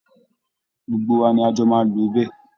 Gbogbo wa ni a jọ máa lò ó bẹ́ẹ̀